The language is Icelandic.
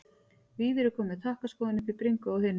Víðir er kominn með takkaskóinn upp í bringu á hinum.